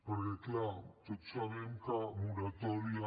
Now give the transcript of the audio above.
perquè clar tots sabem que moratòria